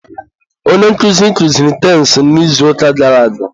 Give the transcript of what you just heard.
onye nkụzi kuziri tensị n'izuụka gara aga.